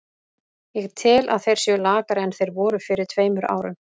Ég tel að þeir séu lakari en þeir voru fyrir tveimur árum.